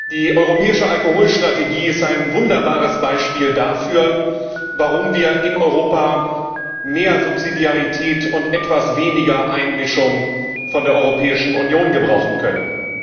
Die europäische Alkoholstrategie ist ein wunderbares Beispiel dafür, warum wir in Europa mehr Subsidiarität und etwas weniger Einmischung von der Europäischen Union gebrauchen könnten.